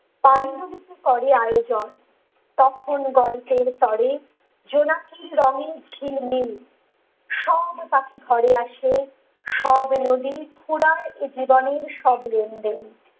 তাই বলিতে কারো আয়োজন কখনো গল্পের পরে জোনাকি রঙের ঝিলমিল সব পাখি ঘরে আসে সব নদী ফুরায় এ জীবনের সব লেন দেন ।